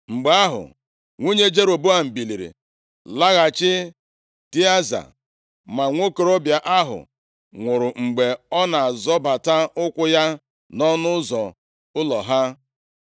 Mgbe ahụ, nwunye Jeroboam biliri laghachi Tịaza. Ma nwokorobịa ahụ nwụrụ mgbe ọ na-azọbata ụkwụ ya nʼọnụ ụzọ ụlọ ha.